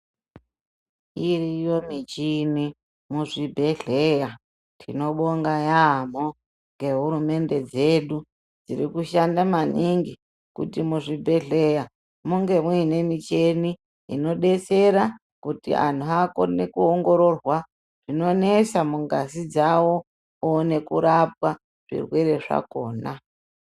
Iriyo michini muzvibhedhleya tinobonga yaamho ngehurumende dzedu dziri kushanda maningi kuti muzvibhedhleya munge muine mucheni inodetsera khti anhu akone kuongororwa zvinonesa mungazi dzawo oone kurapwa zvirwere zvakhona.